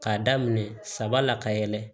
K'a daminɛ saba la ka yɛlɛ